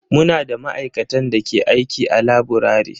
Muna da ma'aikatan da ke aiki a laburare.